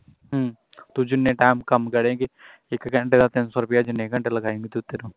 ਤੂੰ ਜਿੰਨਾਂ time ਕੰਮ ਕਰੇਗੀ ਇਕ ਘੰਟੇ ਦਾ ਤਿੰਨ ਸੌ ਰੁਪਿਆ ਜਿੰਨ੍ਹੇ ਘੰਟੇ ਲਗਾਏਗੀ ਤੂੰ